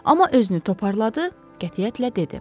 Amma özünü toparladı, qətiyyətlə dedi.